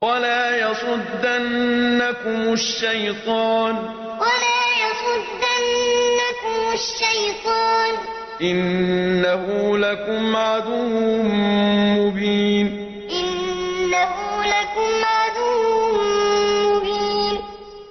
وَلَا يَصُدَّنَّكُمُ الشَّيْطَانُ ۖ إِنَّهُ لَكُمْ عَدُوٌّ مُّبِينٌ وَلَا يَصُدَّنَّكُمُ الشَّيْطَانُ ۖ إِنَّهُ لَكُمْ عَدُوٌّ مُّبِينٌ